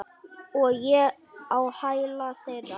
Og ég á hæla þeirra.